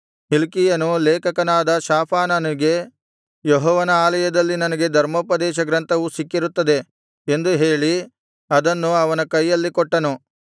ಹಿಲ್ಕೀಯನು ಲೇಖಕನಾದ ಶಾಫಾನನಿಗೆ ಯೆಹೋವನ ಆಲಯದಲ್ಲಿ ನನಗೆ ಧರ್ಮೋಪದೇಶ ಗ್ರಂಥವು ಸಿಕ್ಕಿರುತ್ತದೆ ಎಂದು ಹೇಳಿ ಅದನ್ನು ಅವನ ಕೈಯಲ್ಲಿ ಕೊಟ್ಟನು